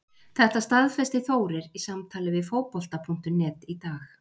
Þetta staðfesti Þórir í samtali við Fótbolta.net í dag.